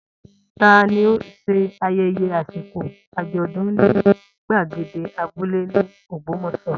Ta ni ó ṣe ayẹyẹ àsìkò àjọ̀dún ní gbàgede abúlé ní Ògbómọ̀ṣọ́?